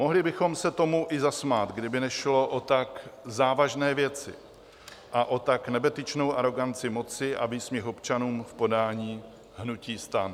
Mohli bychom se tomu i zasmát, kdyby nešlo o tak závažné věci a o tak nebetyčnou aroganci moci a výsměch občanům v podání hnutí STAN.